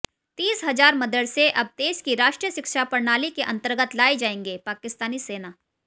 तीस हज़ार मदरसे अब देश की राष्ट्रीय शिक्षा प्रणाली के अन्तर्गत लाए जाएंगेः पाकिस्तानी सेना